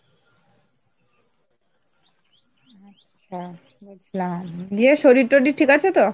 আচ্ছা বুঝলাম দিয়ে শরীর টরির ঠিক আছে তো?